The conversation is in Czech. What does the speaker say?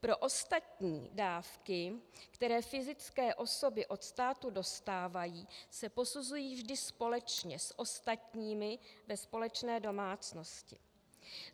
Pro ostatní dávky, které fyzické osoby od státu dostávají, se posuzují vždy společně s ostatními ve společné domácnosti.